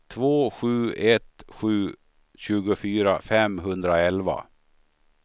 två sju ett sju tjugofyra femhundraelva